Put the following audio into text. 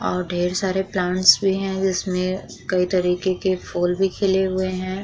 और ढेर सारे प्लांट्स भी है जिसमें कई तरीके के फूल भी खिले हुए हैं।